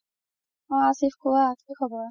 অ আশিফ কুৱা কি খবৰ